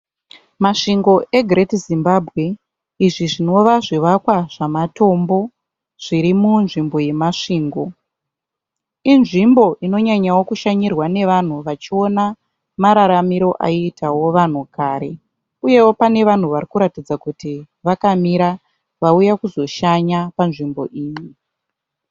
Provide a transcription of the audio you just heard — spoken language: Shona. Masvingo eGreat Zimbabwe izvi zvinova zvivakwa zvematombo zviri munzvimbo yeMasvingo. Inzvimbo inonyanyawo kushanyirwa nevanhu vachiona mararamiro aiitawo vanhu kare uyewo pane vanhu vari kuratidza kuti vakamira vauya kuzoshanya panzvimbo iyi.